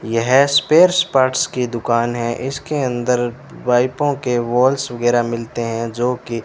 यह spares parts की दुकान है इसके अंदर वाइपो के वाल्स वगैरा मिलते है जोकी --